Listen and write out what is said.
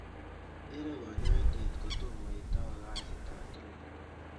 iroo kanyaindet kotoma itau kasit ap kila